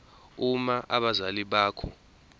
uma abazali bakho